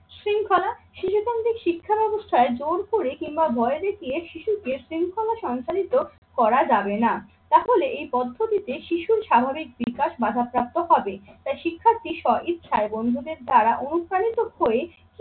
শিক্ষাব্যবস্থায় জোর করে কিংবা ভয় দেখিয়ে শিশুকে শৃঙ্খলা শঙ্খলিত করা যাবে না। তাহলে এই পদ্ধতিতে শিশুর স্বাভাবিক বিকাশ বাধাপ্রাপ্ত হবে। তাই শিক্ষার যে স্ব ইচ্ছায় বন্ধুদের দ্বারা অনুপ্রাণিত হয়ে